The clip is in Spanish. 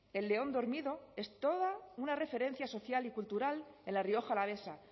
el león dormido es toda una referencia social y cultural en la rioja alavesa